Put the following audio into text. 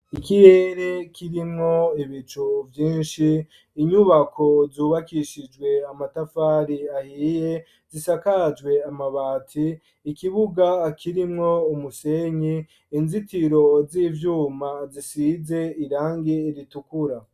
Ikirere kirimwo ibicu vyinshi inyubako zubakishijwe amatafari ahiye zisakajwe amabati ikibuga kirimwo umusenyi inzitiro z'ivyuma zisize irangi ritukura.